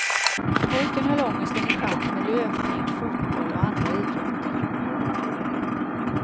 Pojken höll ångesten i schack med löpning, fotboll och andra idrotter.